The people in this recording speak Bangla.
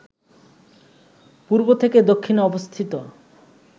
পূর্ব থেকে দক্ষিণে অবস্থিত